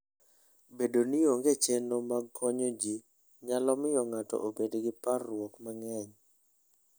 Bedo ni onge chenro mag konyo ji, nyalo miyo ng'ato obed gi parruok mang'eny.